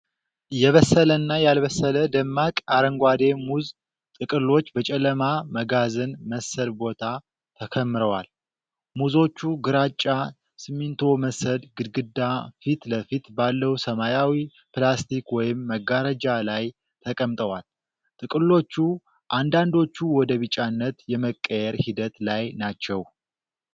የበሰለና ያልበሰለ ደማቅ አረንጓዴ ሙዝ ጥቅሎች በጨለማ መጋዘን መሰል ቦታ ተከምረዋል። ሙዞቹ ግራጫ ሲሚንቶ መሰል ግድግዳ ፊት ለፊት ባለው ሰማያዊ ፕላስቲክ ወይም መጋረጃ ላይ ተቀምጠዋል። ጥቅሎቹ አንዳንዶቹ ወደ ቢጫነት የመቀየር ሂደት ላይ ናቸው።